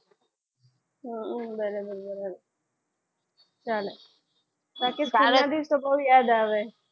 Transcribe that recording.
હમ બરાબર બરાબર બાકી school ના દિવસે તો બહુ યાદ આવે.